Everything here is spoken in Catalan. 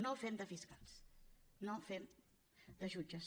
no fem de fiscals no fem de jutges